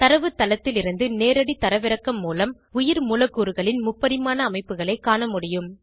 தரவுத்தளத்திலிருந்து நேரடி தரவிறக்கம் மூலம் உயிர்மூலக்கூறுகளின் முப்பரிமாண அமைப்புகளை காணமுடியும்